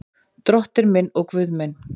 Drottinn minn og Guð minn.